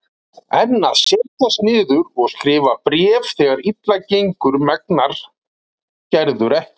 En að setjast niður og skrifa bréf þegar illa gengur megnar Gerður ekki.